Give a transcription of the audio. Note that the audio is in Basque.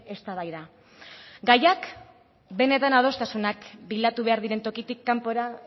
eztabaida gaiak benetan adostasunak bilatu behar diren tokitik kanpora